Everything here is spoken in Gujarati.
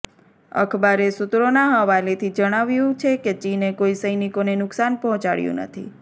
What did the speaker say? અખબારે સૂત્રોના હવાલેથી જણાવ્યું છે કે ચીને કોઈ સૈનિકોને નુકસાન પહોંચાડ્યું નથી